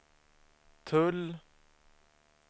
tull